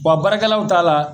Wa baarakɛlaw t'a la